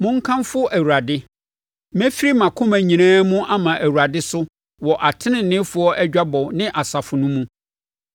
Monkamfo Awurade! Mɛfiri mʼakoma nyinaa mu ama Awurade so wɔ ateneneefoɔ adwabɔ ne asafo no mu.